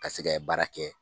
Ka se ka baara kɛ